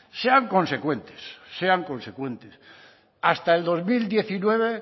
sean consecuentes sean consecuentes hasta el dos mil diecinueve